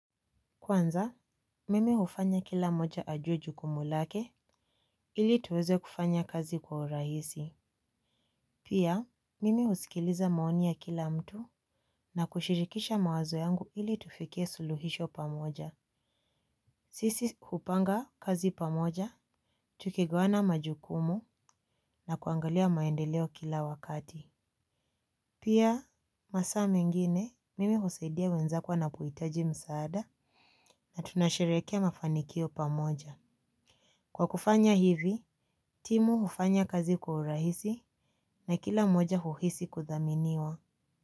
Kwanza, mimi hufanya kila moja ajuwe jukumu lake ili tuweze kufanya kazi kwa urahisi. Pia, mimi husikiliza maoni ya kila mtu na kushirikisha mawazo yangu ili tufikie suluhisho pamoja. Sisi, hupanga kazi pamoja, tukigawana majukumu na kuangalia maendeleo kila wakati. Pia, masaa mengine, mimi husaidia wenzako wanapohitaji msaada na tunasherekea mafanikio pamoja. Kwa kufanya hivi, timu hufanya kazi kwa urahisi na kila moja uhisi kudhaminiwa.